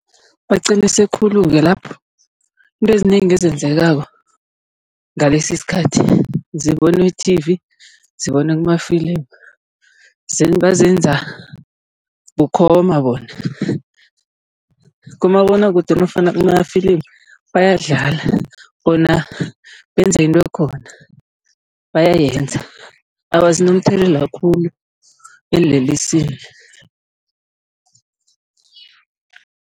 Baqinise khulu-ke lapho, izinto ezinengi ezenzekako ngalesi isikhathi zibonwe e-T_V, zibonwe kumafilimu bazenza bukhoma bona. Kumabonwakude nofana kumafilimu bayadlala bona benza into ekhona, bayayenza. Awa, zinomthelela khulu eenlelesini.